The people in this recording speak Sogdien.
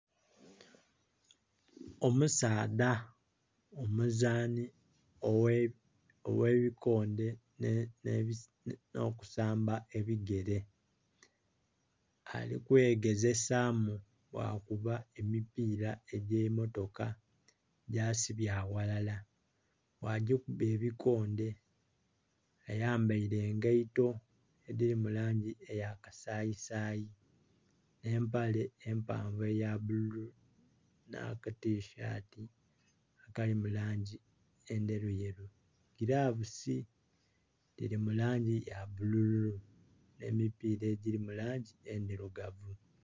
Omusaadha omuzanhi ogh'ebikonde nh'okusamba ebigere. Ali kwegezesamu bwakuba emipiira egy'emotoka gyasibye aghalala, bwagikuba ebikonde. Ayambaile engaito edhili mu langi eya kasayisayi nh'empale empanvu eya bululu nh'akatisati akali mu langi endheruyeru. Gilavusi dhili mu langi ya bulululu. Nh'emipiira egiri mu langi endirugavu.